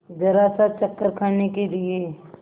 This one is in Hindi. जरासा चक्कर खाने के लिए